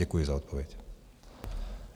Děkuji za odpověď.